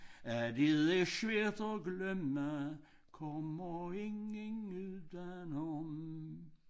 At det er svært at glemme kommer ingen udenom